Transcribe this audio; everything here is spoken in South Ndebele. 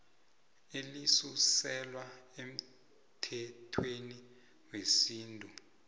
elisuselwa emthethweni wesintu